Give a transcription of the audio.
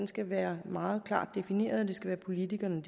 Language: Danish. skal være meget klart defineret og det skal være politikerne